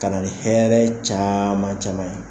Ka na ni hɛrɛ caman caman ye